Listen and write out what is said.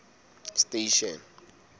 station